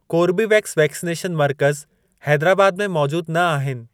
Corbevax vaccination मर्कज़ हैदराबाद में मौजूद न आहिनि।